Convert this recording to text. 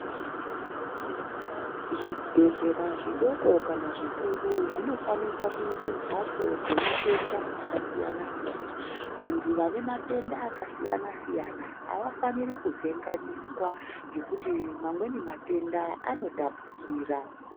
Zvibhedhlera zvidoko kana zvikuru zvinofanika kuite mbatso dzema tenda akasiyana siyana. Vantu vanematenda akasiyana siyana avafaniri kuvhenganiswa ngekuti mamweni matenda anotapukira.